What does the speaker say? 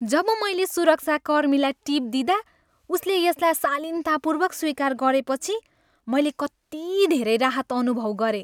जब मैले सुरक्षाकर्मीलाई टिप दिँदा उसले यसलाई शालीनतापूर्वक स्वीकार गरेपछि मैले कति धेरै राहत अनुभव गरेँ।